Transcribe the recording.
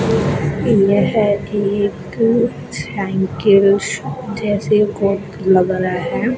यह एक साइकिल जैसे लग रहा है।